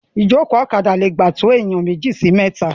Ìjòkó ọ̀kadà lè gbà to ènìyàn méjì sí mẹta.